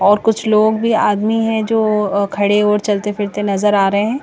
और कुछ लोग भी आदमी है जो खड़े और चलते फिरते नजर आ रहे हैं।